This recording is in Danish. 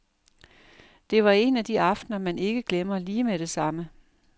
Det var en af de aftener, man ikke glemmer lige med det samme.